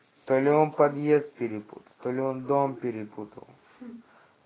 то ли он подъезд перепутал то ли он дом перепутал